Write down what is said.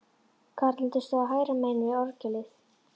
Karlarnir stóðu hægra megin við orgelið.